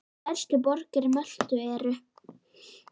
Stærstu borgir Möltu eru